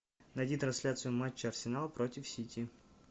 найди трансляцию матча арсенал против сити